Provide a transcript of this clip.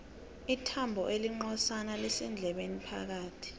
ithambo elincozana lisendlebeni phakathi